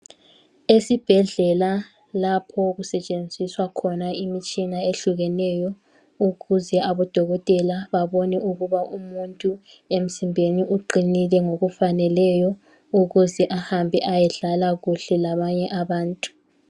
Esibhedlela lapho okusetshenziswa khona imitshina ehlukeneyo ukuze abadokotela babone ukuba umuntu emzimbeni uqinile ngokufaneleyo ukuze ahambe ayedlala kuhle labanye abantu.